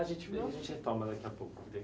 A gente, a gente retoma daqui a pouco.